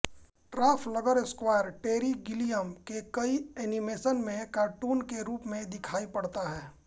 Trafalgar Square Terry Gilliam के कई animation में कार्टून के रूप में दिखायी पड़ता है